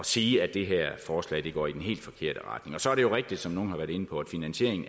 sige at det her forslag går i den helt forkerte retning så er det jo rigtigt som nogle har været inde på at finansieringen